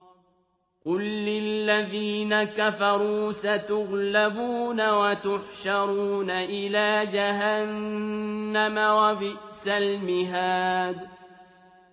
قُل لِّلَّذِينَ كَفَرُوا سَتُغْلَبُونَ وَتُحْشَرُونَ إِلَىٰ جَهَنَّمَ ۚ وَبِئْسَ الْمِهَادُ